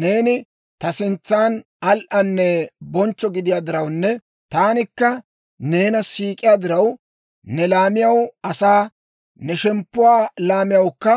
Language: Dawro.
Neeni ta sintsan al"anne bonchcho gidiyaa dirawunne, taanikka neena siik'iyaa diraw, ne laamiyaw asaa, ne shemppuwaa laamiyawukka